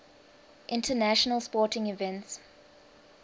international sporting events